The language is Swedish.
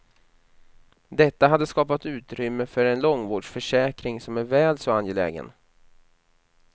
Detta hade skapat utrymme för en långvårdsförsäkring, som är väl så angelägen.